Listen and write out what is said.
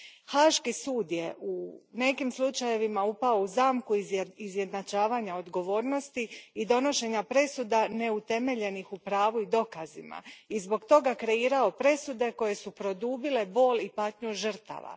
Haški sud je u nekim slučajevima upao u zamku izjednačavanja odgovornosti i donošenja presuda neutemeljenih u pravu i dokazima i zbog toga kreirao presude koje su produbile bol i patnju žrtava.